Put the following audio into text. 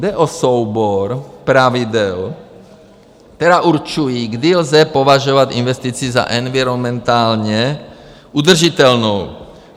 Jde o soubor pravidel, která určují, kdy lze považovat investici za environmentálně udržitelnou.